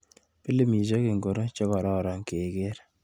Pilamisiek ingoro chekoron keker ?